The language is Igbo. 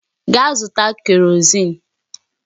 Gaa zụta kerọzin!